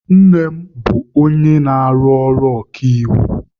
Nne m na-arụ ọrụ okaiwu.